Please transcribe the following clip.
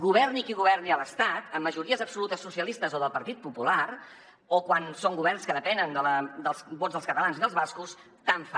governi qui governi a l’estat amb majories absolutes socialistes o del partit popular o quan són governs que depenen dels vots dels catalans i dels bascos tant li fa